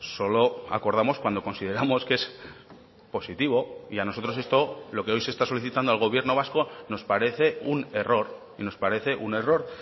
solo acordamos cuando consideramos que es positivo y a nosotros esto lo que hoy se está solicitando al gobierno vasco nos parece un error y nos parece un error